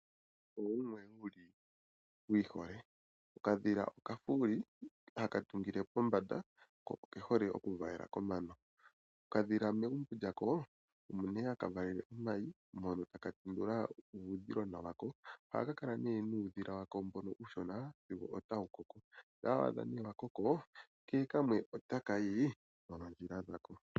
Uudhila owo wumwe wu ihole. Okadhila okafuuli haka tungile pombanda, ko okehole okuvalela komano. Okadhila megumbo lyako omo nee haka valele omayi ko taka tendula uudhilona wako. Ohaka kala nee nuudhila wako mbono uushona sigo tawu koko, shampa wa adha nee wa koko, kehe kamwe otaka yi noondjila dhako.